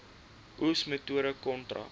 oes metode kontrak